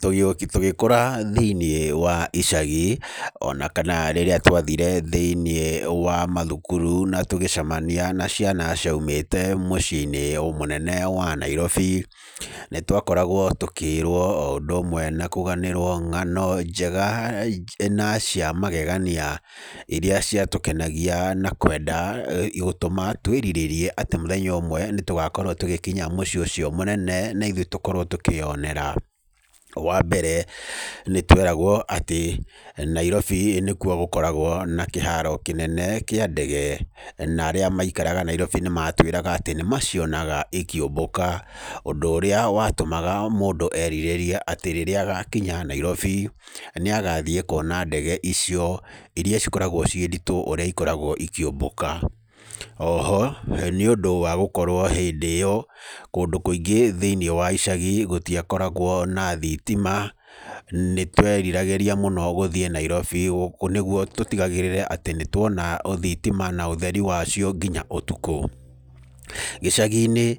Tũgĩkũra thĩiniĩ wa icagi, ona kana rĩrĩa twathire thĩiniĩ wa mathukuru na tũgĩcamania na ciana ciaumĩte mũciĩ-inĩ mũnene wa Nairobi, nĩ twakoragwo tũkĩĩrwo o ũndũ ũmwe na kũganĩrwo ng'ano njega na cia magegania, irĩa ciatũkenagia na kwenda gũtũma tũĩrirĩrie atĩ mũthenya ũmwe nĩ tũgakorwo tũgĩkinya mũciĩ ũcio mũnene na ithuĩ tũkorwo tũkĩyonera. Wa mbere, nĩ tweragwo atĩ, Nairobi nĩ kuo gũkoragwo na kĩharo kĩnene kĩa ndege. Na arĩa maikaraga Nairobi nĩ matwĩraga atĩ, nĩ macionaga ikĩũmbũka, ũndũ ũrĩa watũmaga mũndũ erirĩrie atĩ rĩrĩa agakinya Nairobi, nĩ agathiĩ kuona ndege icio, irĩa cikoragwo ciĩ nditũ ũrĩa ikoragwo ikĩũmbũka. Oho, nĩ ũndũ wa gũkorwo hĩndĩ ĩyo, kũndũ kũingĩ thĩiniĩ wa icagi gũtiakoragwo na thitima, nĩ tweriragĩria mũno gũthiĩ Nairobi gũkũ nĩguo tũtigagĩrĩre atĩ nĩ tuona thitama na ũtheri wa cio nginya ũtukũ. Gĩcagi-inĩ,